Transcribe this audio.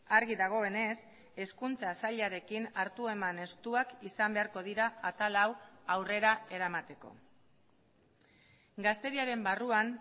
argi dagoenez hezkuntza sailarekin hartu eman estuak izan beharko dira atal hau aurrera eramateko gazteriaren barruan